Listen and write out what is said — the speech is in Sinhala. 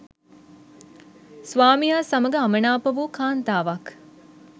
ස්වාමියා සමඟ අමනාප වූ කාන්තාවක්